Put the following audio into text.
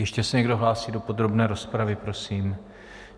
Ještě se někdo hlásí do podrobné rozpravy prosím?